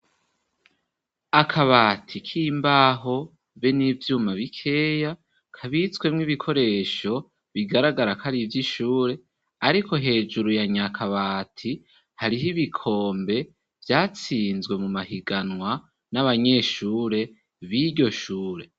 Akabati, k'imbaho, be n'ivyuma bikeya, kabitswemwo ibikoresho, bigaragara ko, ari ivy'ishure; ariko hejuru, ya nya kabati, hariho ibikombe, vyatsinzwe mu mahiganwa, n'abanyeshure, b'iryo shure.